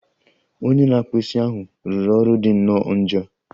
Onye na-akpụ isi ahụ rụrụ ọrụ dị nnọọ njọ